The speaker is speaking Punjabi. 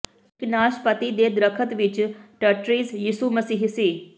ਇੱਕ ਨਾਸ਼ਪਾਤੀ ਦੇ ਦਰੱਖਤ ਵਿੱਚ ਟੱਟ੍ਰੀਜ ਯਿਸੂ ਮਸੀਹ ਸੀ